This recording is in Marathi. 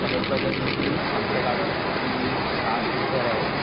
सगळ्यात पहिल्या दिवशी आमच्या गावी जसं की आठ घर आहेत